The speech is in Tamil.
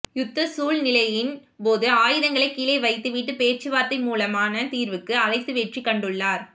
யுத்த சூழ் நிலையின் போது ஆயுதங்களை கீழே வைத்து விட்டு பேச்சுவார்த்தை மூலமான தீர்வுக்கு அழைத்து வெற்றி கண்டுள்ளார்